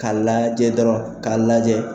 K'a lajɛ dɔrɔn k'a lajɛ.